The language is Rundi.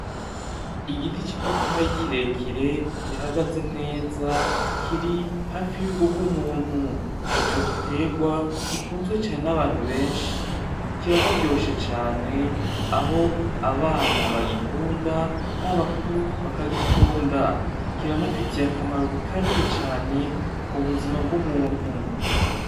Igiti c’ipapayi kirekire gihagaze neza kiri hafi y’urugo rw’umuntu. Ico gitegwa gikundwa cane n’abantu benshi, kiraryoshe cane aho abana bagikunda n’abakuru bakagikunda. Kiranafise akamaro kanini cane ku buzima bw’umuntu.